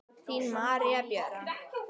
Þín María Björk.